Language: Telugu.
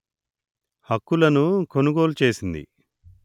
హక్కులను కొనుగోలు చేసింది